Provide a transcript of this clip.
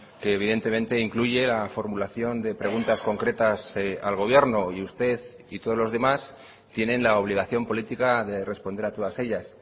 que evidentemente incluye la formulación de preguntas concretas al gobierno y usted y todos los demás tienen la obligación política de responder a todas ellas